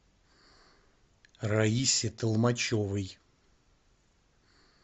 раисе толмачевой